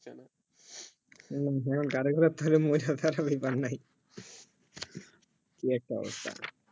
হম গাড়ি ঘোড়া থাকে মজাদার আমি বানাই কি একটা অবস্থা